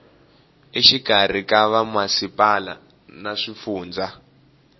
exikarhi ka vamasipala na swifundza